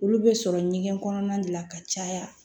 Olu bɛ sɔrɔ ɲɛgɛn kɔnɔna de la ka caya